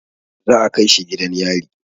Za a kai shi gidan yari.